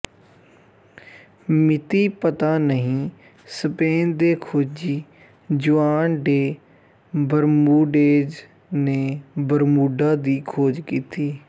ਮਿਤੀ ਪਤਾ ਨਹੀਂ ਸਪੇਨ ਦੇ ਖੋਜੀ ਜੂਆਨ ਡੇ ਬਰਮੂਡੇਜ਼ ਨੇ ਬਰਮੂਡਾ ਦੀ ਖੋਜ ਕੀਤੀ